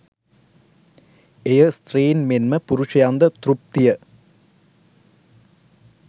එය ස්ත්‍රීන් මෙන්ම පුරුෂයන්ද තෘප්තිය